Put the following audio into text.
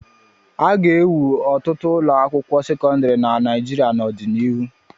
A ga-ewu ọtụtụ ụlọ akwụkwọ sekọndrị na Naịjirịa n'ọdịnihu.